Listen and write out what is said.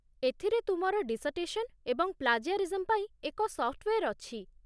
ଏଥିରେ ତୁମର ଡିସର୍ଟେସନ୍ ଏବଂ ପ୍ଳାଜିଆରିଜମ୍ ପାଇଁ ଏକ ସଫ୍ଟୱେର୍ ଅଛି।